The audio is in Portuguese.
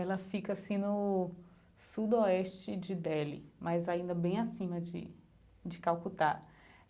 Ela fica, assim, no sudoeste de Deli, mas ainda bem acima de de Calcutá.